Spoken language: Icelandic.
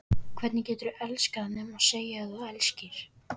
Hvernig geturðu elskað nema segja að þú elskir?